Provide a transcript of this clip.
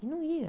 E não ia.